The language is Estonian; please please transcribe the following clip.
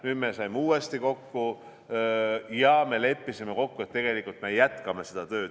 Nüüd me saime uuesti kokku ja leppisime kokku, et me jätkame seda tööd.